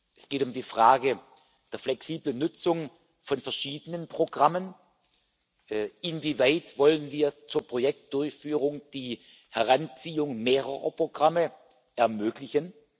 Es geht um die Frage der flexiblen Nutzung von verschiedenen Programmen Inwieweit wollen wir zur Projektdurchführung die Heranziehung mehrerer Programme ermöglichen?